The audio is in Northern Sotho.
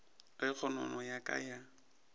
ge kgonono ya ka ya